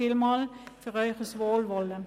Vielen Dank für Ihr Wohlwollen.